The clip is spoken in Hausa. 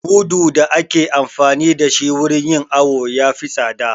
Mudu da ake amfani da shi wurin yin awo ya fi tsada